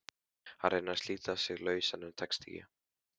Hann reynir að slíta sig lausan en tekst ekki.